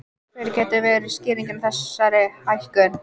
En hver getur verið skýringin á þessari hækkun?